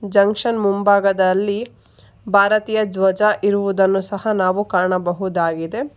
Junction ಮುಂಭಾಗದಲ್ಲಿ ಭಾರತೀಯ ಧ್ವಜ ಇರುವುದನ್ನು ಸಹ ನಾವು ಕಾಣಬಹುದಾಗಿದೆ.